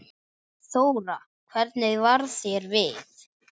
Þóra: Hvernig varð þér við?